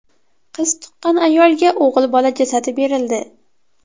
Qiz tuqqan ayolga o‘g‘il bola jasadi berildi.